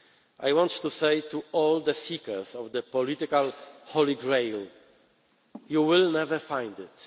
I want to say to all the seekers of the political Holy Grail you will never find